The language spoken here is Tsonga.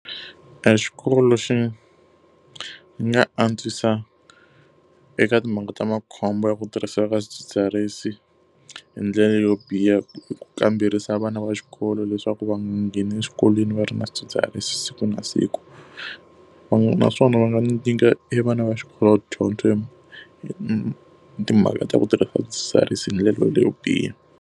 Exikolo lexi nga antswisa eka timhangu ta makhombo ya ku tirhisiwa ka swidzidziharisi hi ndlela yo biha i ku kamberisa vana va xikolo leswaku va nga ngheni eswikolweni va ri na swidzidziharisi siku na siku. naswona va nga nyika e vana va xikolo dyondzo timhaka ta ku tirhisa swidzidziharisi hi ndlela leyo biha.